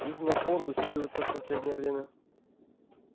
их напор усиливается в последнее время